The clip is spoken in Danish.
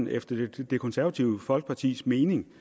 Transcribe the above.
efter det det konservative folkepartis mening